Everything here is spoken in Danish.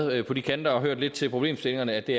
været på de kanter og hørt lidt til problemstillingerne at det